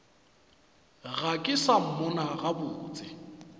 ga ke sa mmona gabotse